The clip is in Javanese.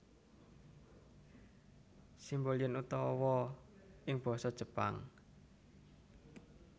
Simbol yen utawa ing basa Jepang